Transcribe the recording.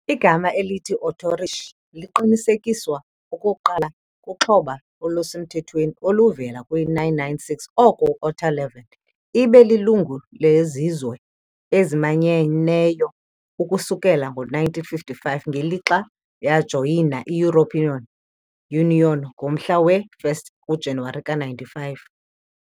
Igama elithi "Ostarrichi" liqinisekiswa okokuqala kuxhoba olusemthethweni oluvela kwi-996 oko- Otto III . Ibe lilungu leZizwe eziManyeneyo ukusukela ngo-1955 ngelixa yajoyina i -European Union ngomhla we-1 kuJanuwari ka-1995.